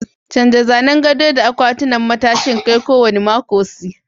Canja zanen gado da akwatunan matashin kai kowane mako.c